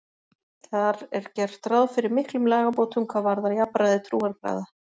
Þar er gert ráð fyrir miklum lagabótum hvað varðar jafnræði trúarbragða.